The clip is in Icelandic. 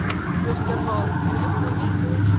Kristján Már: Er eitthvert vit í þessu?